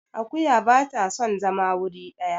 akuya ba ta son zama wuri daya